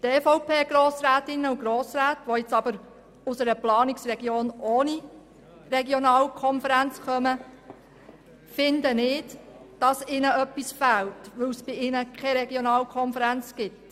Die EVP-Grossrätinnen und -Grossräte, die aus einer Planungsregion ohne Regionalkonferenz kommen, finden hingegen nicht, dass ihnen deswegen etwas fehlt.